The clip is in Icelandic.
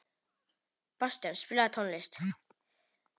Bastían, spilaðu tónlist.